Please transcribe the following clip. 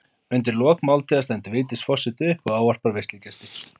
Undir lok máltíðar stendur Vigdís forseti upp og ávarpar veislugesti.